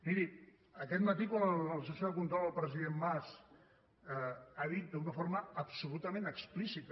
miri aquest matí quan en la sessió de control el president mas ha dit d’una forma absolutament explícita